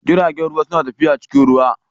Jiragen ruwa suna tafiya cikin ruwa.